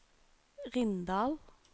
Rindal